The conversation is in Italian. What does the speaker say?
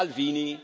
Salvini,